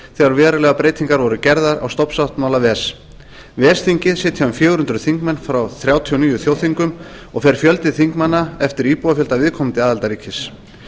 þegar verulegar breytingar voru gerðar á stofnsáttmála ves ves þingið sitja um fjögur hundruð þingmenn frá þrjátíu og níu þjóðþingum og fer fjöldi þingmanna eftir íbúafjölda viðkomandi aðildarríkis